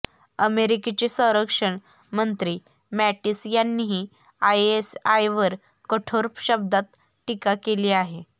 अमेरिकेचे संरक्षण मंत्री मॅटिस यांनीही आयएसआयवर कठोर शब्दांत टीका केली आहे